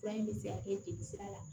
Fura in bɛ se ka kɛ jelisira la